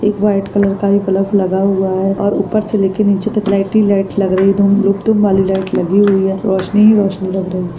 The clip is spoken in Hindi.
एक व्हाइट कलर का बल्ब लगा हुआ है और ऊपर से लेके नीचे तक लाइट ही लाइट लग रही है धूम लुक धूम वाली लाइट लग रही है रोशनी ही रोशनी लग रही है।